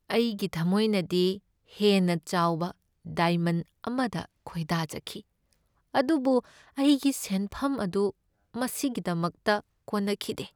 ꯑꯩꯒꯤ ꯊꯝꯃꯣꯏꯅꯗꯤ ꯍꯦꯟꯅ ꯆꯥꯎꯕ ꯗꯥꯏꯃꯟ ꯑꯃꯗ ꯈꯣꯏꯗꯥꯖꯈꯤ, ꯑꯗꯨꯕꯨ ꯑꯩꯒꯤ ꯁꯦꯟꯐꯝ ꯑꯗꯨ ꯃꯁꯤꯒꯤꯗꯃꯛꯇ ꯀꯣꯟꯅꯈꯤꯗꯦ ꯫